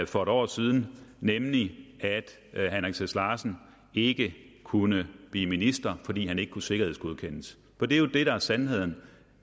for en år siden nemlig at herre henrik sass larsen ikke kunne blive minister fordi han ikke kunne sikkerhedsgodkendes for det er jo det der er sandheden